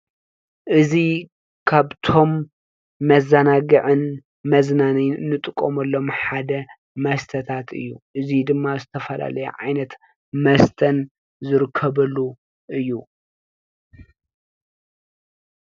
እዚ ካብቶም መዘናግዕን መዝናነነይን ንጥቀመሎም ሓደ መስተታት እዩ፡፡ እዚ ድማ ዝተፈላለዩ ዓይነት መስተን ዝርከበሉ እዩ፡፡